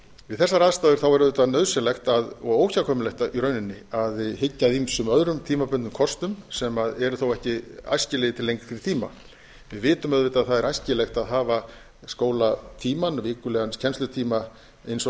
við þessar aðstæður er auðvitað nauðsynlegt og óhjákvæmilegt í rauninni að hyggja að ýmsum öðrum tímabundnum kostum sem eru þó ekki æskilegir til lengri tíma við vitum auðvitað að það er æskilegt að hafa skólatímans vikulegan kennslutíma eins og